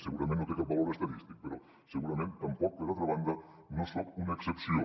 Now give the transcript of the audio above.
segurament no té cap valor estadístic però segurament tampoc per altra banda no en soc una excepció